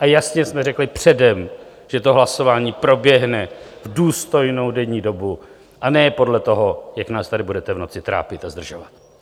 A jasně jsme řekli předem, že to hlasování proběhne v důstojnou denní dobu, a ne podle toho, jak nás tady budete v noci trápit a zdržovat.